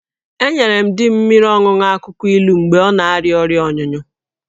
Enyere m di m mmiri ọṅụṅụ akwụkwọ ilu mgbe ọ na-arịa ọrịa ọnyụnyụ